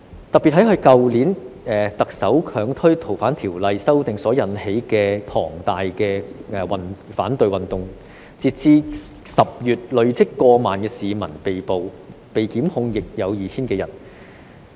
特別是在去年特首強推《逃犯條例》修訂所引起的龐大反對運動，截至10月累積過萬名市民被捕，被檢控的人數亦有 2,000 多人。